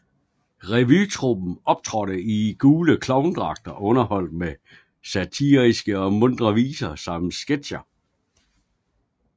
Revytruppen optrådte i gule klovnedragter og underholdt med satiriske og muntre viser samt sketcher